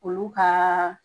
Olu ka